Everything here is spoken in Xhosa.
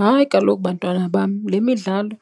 Hayi, kaloku bantwana bam, le midlalo